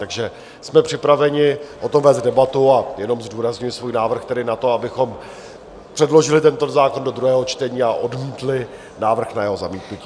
Takže jsme připraveni o tom vést debatu, a jenom zdůrazňuji svůj návrh, tedy na to, abychom předložili tento zákon do druhého čtení a odmítli návrh na jeho zamítnutí.